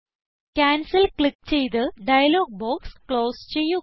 cancel click ചെയ്ത് dialogue box close ചെയ്യുക